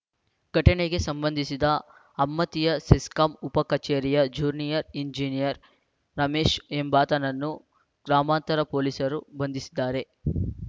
ಘಟನೆಗೆ ಸಂಬಂಧಿಸಿ ಅಮ್ಮತ್ತಿಯ ಸೆಸ್ಕಾಂ ಉಪ ಕಚೇರಿಯ ಜೂನಿಯರ್‌ ಎಂಜಿನಿಯರ್‌ ರಮೇಶ್‌ ಎಂಬಾತನನ್ನು ಗ್ರಾಮಾಂತರ ಪೊಲೀಸರು ಬಂಧಿಸಿದ್ದಾರೆ